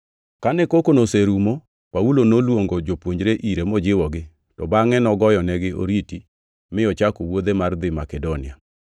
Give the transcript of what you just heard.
Kane kokono oserumo, Paulo noluongo jopuonjre ire mojiwogi, to bangʼe nogoyonegi oriti, mi ochako wuodhe mar dhi Makedonia.